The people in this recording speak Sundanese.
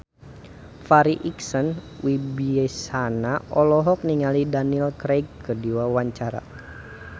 Farri Icksan Wibisana olohok ningali Daniel Craig keur diwawancara